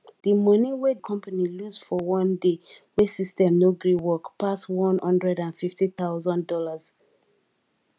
di moni wey di company lose for one day wey system no gree work pass one hundred and fifty thousand dollars